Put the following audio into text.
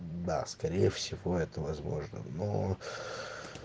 да скорее всего это возможно но